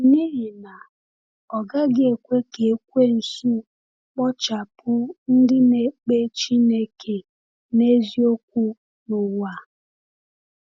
N’ihi na, ọ gaghị ekwe ka Ekwensu kpochapụ ndị na-ekpe Chineke n’eziokwu n’ụwa!